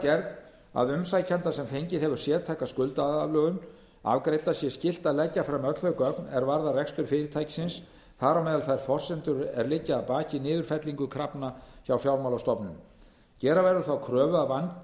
gerð að umsækjanda sem fengið hefur sértæka skuldaaðlögun afgreidda sé skylt að leggja fram öll þau gögn er varðar rekstur fyrirtækisins þar á meðal þær forsendur er liggja að baki niðurfellingu krafna hjá fjármálastofnunum gera verður þá kröfu að